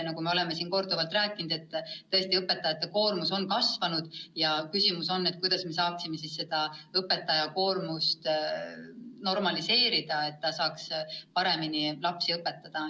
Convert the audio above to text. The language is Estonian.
Nagu me oleme siin korduvalt rääkinud, tõesti õpetajate koormus on kasvanud ja küsimus on, kuidas me saaksime seda koormust normaliseerida, et õpetaja jaksaks paremini lapsi õpetada.